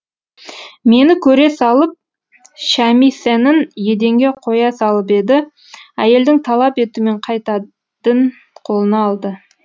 мені көре салып шямисэнін еденге қоя салып еді әйелдің талап етумен қайтадын қолына алды